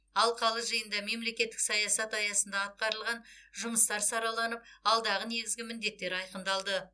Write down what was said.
алқалы жиында мемлекеттік саясат аясында атқарылған жұмыстар сараланып алдағы негізгі міндеттер айқындалды